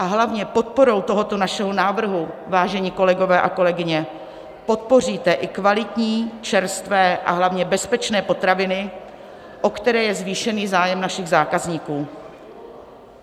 A hlavně podporou tohoto našeho návrhu, vážení kolegové a kolegyně, podpoříte i kvalitní, čerstvé, a hlavně bezpečné potraviny, o které je zvýšený zájem našich zákazníků.